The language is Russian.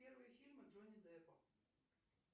первые фильмы джонни деппа